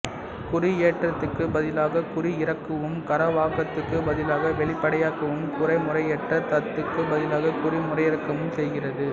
குறியேற்றத்துக்குப் பதிலாக குறியிறக்கமும் கரவாக்கத்துகுப் பதிலாக வெளிப்படையாக்கமும் குறிமுறையேற்றத்துக்குப் பதிலாக குறிமுறையிறக்கமும் செய்கிறது